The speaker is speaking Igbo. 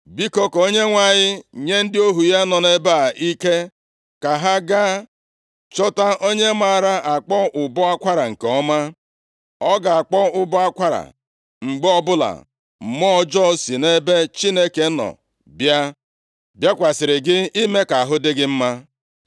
Biko, ka onyenwe anyị nye ndị ohu ya nọ nʼebe a ike, ka ha gaa chọta onye maara akpọ ụbọ akwara nke ọma. Ọ ga-akpọ ụbọ akwara mgbe ọbụla mmụọ ọjọọ si nʼebe Chineke nọ bịa bịakwasịrị gị, ime ka ahụ dị gị mma.”